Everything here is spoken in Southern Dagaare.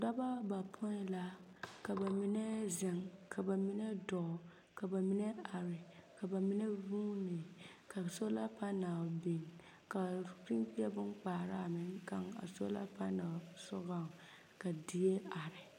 Dɔbɔ bapoĩ la, ka ba menɛɛ zeŋ, ka ba menɛ dɔɔ, ka ba menɛ are, ka ba menɛ vuuni. Ka solapanɛl biŋ, pimbie boŋkpaara kaŋ a solapanɛl sogɔŋ ka die are.